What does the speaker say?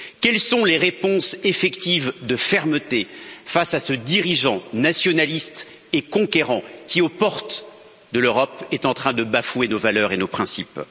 Quelles sont les réponses effectives de fermeté face à ce dirigeant nationaliste et conquérant qui, aux portes de l'Europe, est en train de bafouer nos valeurs et nos principes?